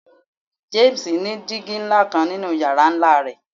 James ni digi nla kan ninu yara nla rẹ